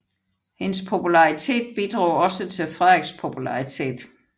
Hendes popularitet bidrog også til Frederiks popularitet